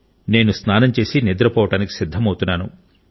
నేను స్నానం చేసి నిద్రపోవడానికి సిద్ధమవుతున్నాను